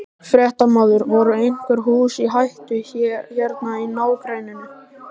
Fréttamaður: Voru einhver hús í hættu hérna í nágrenninu?